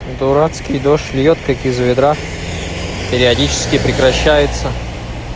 дурацкий дождь льёт как из ведра периодически прекращается